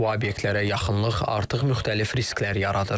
Bu obyektlərə yaxınlıq artıq müxtəlif risklər yaradır.